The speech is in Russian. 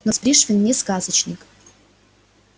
но ведь пришвин не сказочник